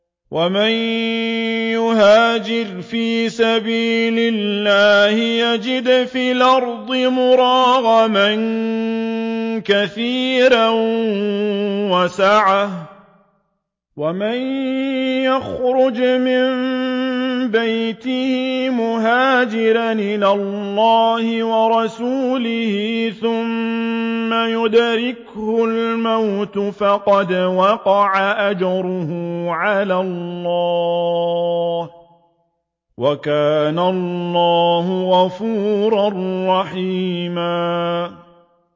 ۞ وَمَن يُهَاجِرْ فِي سَبِيلِ اللَّهِ يَجِدْ فِي الْأَرْضِ مُرَاغَمًا كَثِيرًا وَسَعَةً ۚ وَمَن يَخْرُجْ مِن بَيْتِهِ مُهَاجِرًا إِلَى اللَّهِ وَرَسُولِهِ ثُمَّ يُدْرِكْهُ الْمَوْتُ فَقَدْ وَقَعَ أَجْرُهُ عَلَى اللَّهِ ۗ وَكَانَ اللَّهُ غَفُورًا رَّحِيمًا